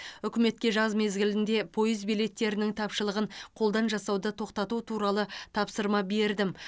үкіметке жаз мезгілінде пойыз билеттерінің тапшылығын қолдан жасауды тоқтату туралы тапсырма бердім